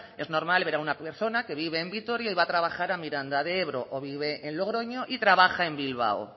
es normal ver a una persona que vive en vitoria y va a trabajar a miranda de ebro o vive en logroño y trabaja en bilbao